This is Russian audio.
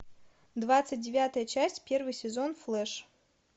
двадцать девятая часть первый сезон флэш